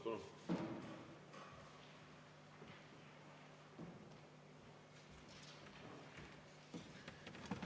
Palun!